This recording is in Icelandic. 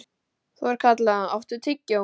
Þorkatla, áttu tyggjó?